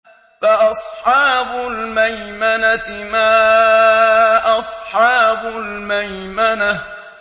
فَأَصْحَابُ الْمَيْمَنَةِ مَا أَصْحَابُ الْمَيْمَنَةِ